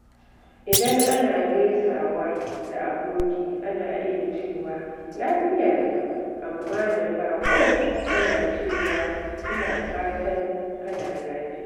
Idan ana gaisawa da aboki, ana iya cewa "Lafiya lau?" amma da baƙo, ana cewa "Ina fatan kana lafiya."